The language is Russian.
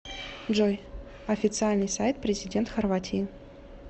джой официальный сайт президент хорватии